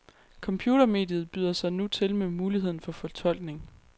Computermediet byder sig nu til med muligheden for fortolkning.